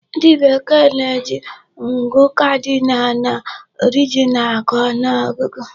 Ndị Bekee na-eji ngụ cardinal na ordinal agụ ọgụgụ.